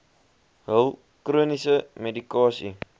hul chroniese medikasie